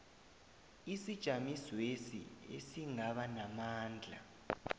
isijamisweso esingaba namandla